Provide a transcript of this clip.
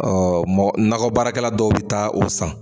mɔgɔ nakɔ baarakɛla dɔw bɛ taa o san.